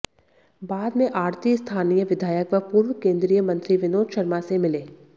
बाद में आढ़ती स्थानीय विधायक व पूर्व केन्द्रीय मंत्री विनोद शर्मा से मिले